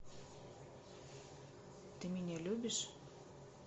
ты меня любишь